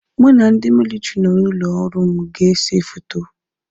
Mụ na ndị militiri nọ n'ụlọ ọrụ m ga ese foto.